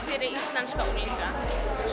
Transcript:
fyrir íslenska unglinga